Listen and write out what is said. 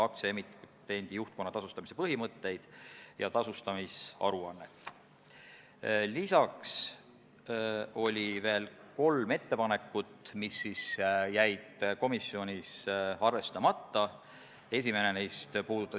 Kas sellist seadusloomega kiirustamist saab nimetada heaks seadusloomeks või heaks tavaks ja kas sellisel korral me peaksime jätkama selle eelnõuga edasiminemist?